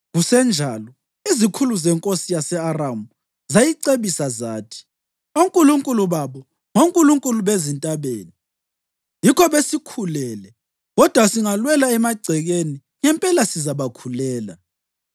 Kusenjalo, izikhulu zenkosi yase-Aramu zayicebisa zathi, “Onkulunkulu babo ngonkulunkulu bezintabeni. Yikho besikhulele. Kodwa singalwela emagcekeni, ngempela sizabakhulela.